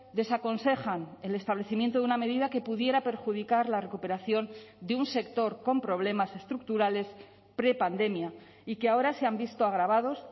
desaconsejan el establecimiento de una medida que pudiera perjudicar la recuperación de un sector con problemas estructurales prepandemia y que ahora se han visto agravados